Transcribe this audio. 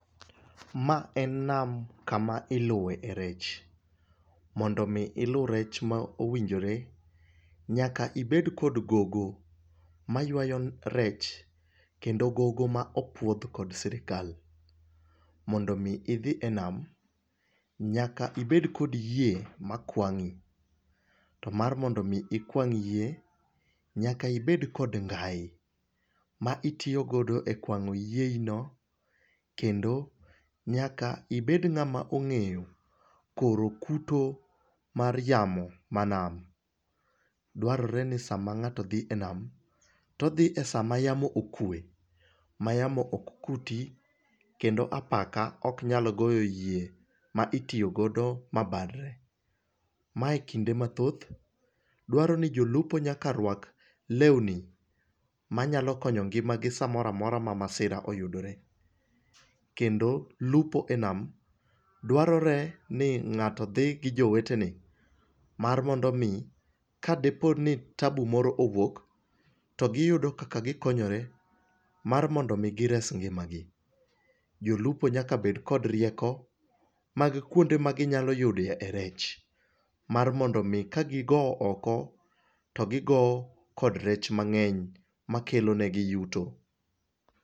Ma en nam kama iloe rech. Mondo ilu rech mowinjore, nyaka ibed kod gogo, maywayo rech, kendo gogo ma opuodhi kod sirkal. mondo mi dhi e nam, nyaka ibed kod yie makwangi, to mar mondo mi ikwang yie, nyaka ibed kod ngai, ma itiyo godo e kwango yieino. kendo nyaka ibed ngama ongeyo koro kuto mar yamo ma nam. dwarore rin sama ngato dhi e nem, to odhi e sa ma yamo okwe, ma yamo ok kuti kendo apaka ok nyal goyo yie ma itiyo go ma bar re. ma ekinde mathoth, dwarore ni jolupo nyaka rwak lewni, manyalo konyo ngima gi samoro amora ma masira oyudore. Kendo lupo e nam, dwarore ni ngato dhi gi jowetene, mar mondo omi ka dipo ni tabu moro owuok, to giyudo kaka gikonyore mar mondo mi gires ngima gi. jolupo nyaka bed kod rieko mag kuonde ma ginyalo yude rech, mar mondo mi ka gi gowo oko to gi gowo kod rech mangeny makelo ne gi yuto.